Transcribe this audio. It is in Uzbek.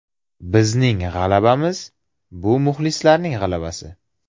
Bizning g‘alabalarimiz – bu muxlislarning g‘alabasi.